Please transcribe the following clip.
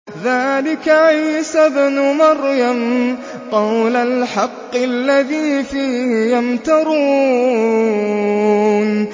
ذَٰلِكَ عِيسَى ابْنُ مَرْيَمَ ۚ قَوْلَ الْحَقِّ الَّذِي فِيهِ يَمْتَرُونَ